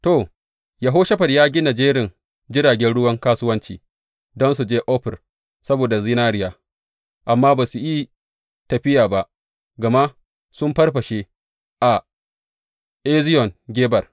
To, Yehoshafat ya gina jerin jiragen ruwan kasuwanci don su je Ofir saboda zinariya, amma ba su yi tafiya ba, gama sun farfashe a Eziyon Geber.